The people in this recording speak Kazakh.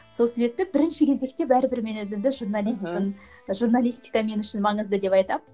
сол себепте бірінші кезекте бәрібір мен өзімді журналистпін журналистика мен үшін маңызды деп айтамын